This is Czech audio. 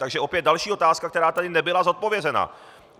Takže opět další otázka, která tady nebyla zodpovězena.